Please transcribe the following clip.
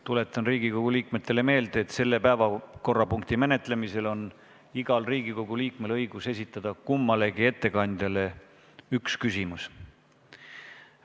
Tuletan Riigikogu liikmetele meelde, et selle päevakorrapunkti menetlemisel on igal Riigikogu liikmel õigus esitada kummalegi ettekandjale üks küsimus.